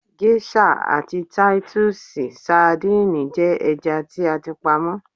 Géṣà àti Títúsì sadínìì jẹ́ ẹja tí a ti pa mọ́.